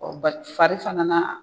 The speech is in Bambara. bari fari fana na